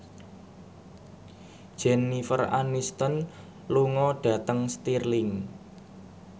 Jennifer Aniston lunga dhateng Stirling